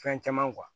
Fɛn caman